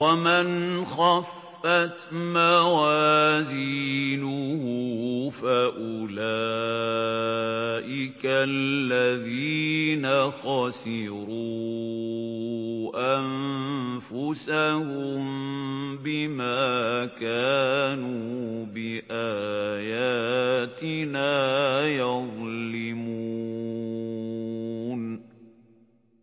وَمَنْ خَفَّتْ مَوَازِينُهُ فَأُولَٰئِكَ الَّذِينَ خَسِرُوا أَنفُسَهُم بِمَا كَانُوا بِآيَاتِنَا يَظْلِمُونَ